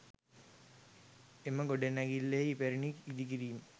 එම ගොඩනැගිල්ලේ ඉපැරණි ඉදිකිරීම්